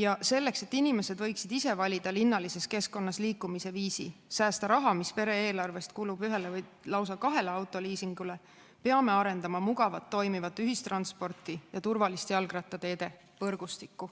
ja selleks, et inimesed võiksid ise valida linnalises keskkonnas liikumise viisi, säästa raha, mis pere eelarvest kulub ühele või lausa kahele autoliisingule, peame arendama mugavat, toimivat ühistransporti ja turvalist jalgrattateede võrgustikku.